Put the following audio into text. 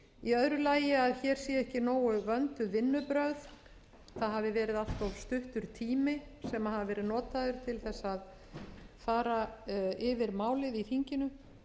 í öðru lagi að hér séu ekki nógu vönduð vinnubrögð það hafi verið allt of stuttur tími sem hafi verið að notaður til þess að fara yfir málið í þinginu